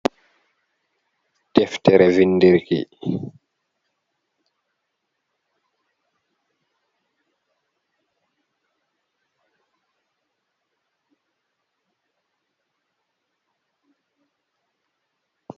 Deftere vindir ki.